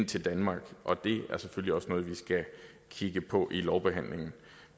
til danmark og det er selvfølgelig også noget vi skal kigge på i lovbehandlingen